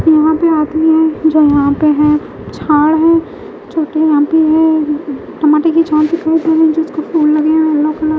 यहां पर आदमी है जो यहां पे है झाड़ हैं छोटे यहां भी है टमाटर की दिखाई रहें जिसको फूल लगे हैं येलो कलर --